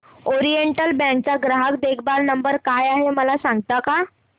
oriental bank चा ग्राहक देखभाल नंबर काय आहे मला सांगता का